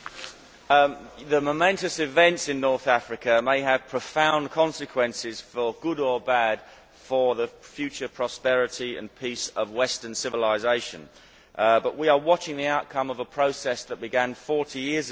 Mr President, the momentous events in North Africa may have profound consequences for good or bad for the future prosperity and peace of western civilisation, but we are watching the outcome of a process that began 40 years ago.